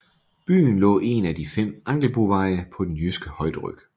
Byen lå en af de fem Angelboveje på den jyske højderyg